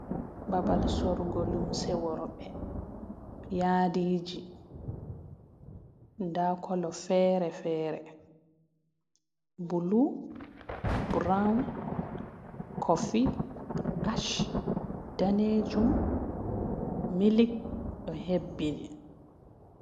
Babal sorugo lumse worbe yadiji da kolo fere-fere bulu, brown, kofie, ash, danejum, milik do hebbini.